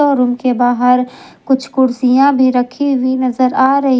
और उनके बाहर कुछ कुर्सियां भी रखी हुई नजर आ रही ह--